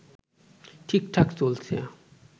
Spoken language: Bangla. ঠিকঠাক চলছে